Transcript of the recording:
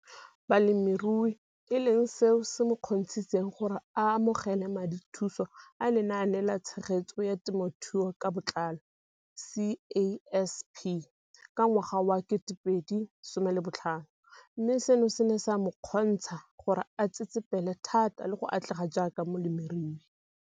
Balemirui e leng seo se mo kgontshitseng gore a amogele madithuso a Lenaane la Tshegetso ya Te mothuo ka Botlalo CASP ka ngwaga wa 2015, mme seno se ne sa mo kgontsha gore a tsetsepele thata le go atlega jaaka molemirui.